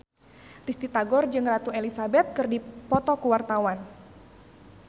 Risty Tagor jeung Ratu Elizabeth keur dipoto ku wartawan